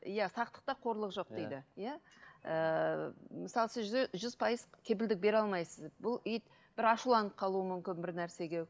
иә сақтықта қорлық жоқ дейді иә ыыы мысалы сіз жүз пайыз кепілдік бере алмайсыз бұл ит бір ашуланып қалуы мүмкін бір нәрсеге